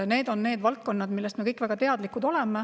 Need on valdkonnad, millest me kõik väga teadlikud oleme.